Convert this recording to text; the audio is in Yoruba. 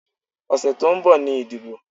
Ọ̀sẹ̀ tó ń bọ̀ ni ìdìbò.